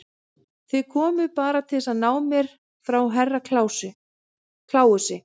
Þið komuð bara til að ná mér frá Herra Kláusi.